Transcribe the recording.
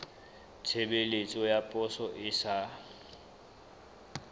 tshebeletso ya poso e sa